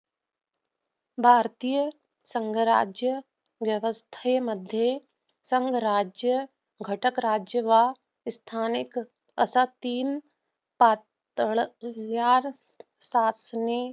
भारतीय संघराज्य व्यवस्थेमध्ये संघराज्य घटकराज्य व स्थानिक असे तीन पातळ्यात